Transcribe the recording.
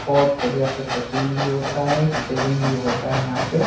बहोत बढ़िया से कटिंग भी होता है सेविंग भी होता है यहाँ पे।